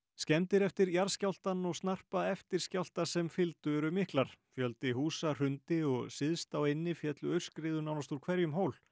skemmdir eftir jarðskjálftann og snarpa eftirskjálfta sem fylgdu eru miklar fjöldi húsa hrundi og syðst á eynni féllu aurskriður nánast úr hverjum hól